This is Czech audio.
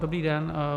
Dobrý den.